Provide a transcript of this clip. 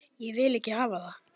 Ég vil ekki hafa það.